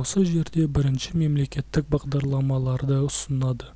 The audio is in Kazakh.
осы жерде бірінші мемлекеттік бағдарламаларды ұсынады